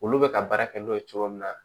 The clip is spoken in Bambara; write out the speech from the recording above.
Olu bɛ ka baara kɛ n'o ye cogo min na